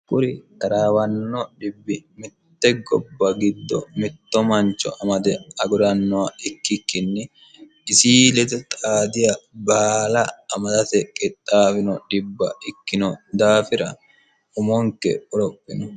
kuri taraawanno dhbbmitte gobba giddo mitto mancho amade agurannowa ikkikkinni isi lete xaadiya baala amadate qexxaawino dhibba ikkino daafira umonke uropino